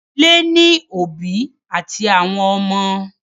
Ìdílé ní òbí àti àwọn ọmọ.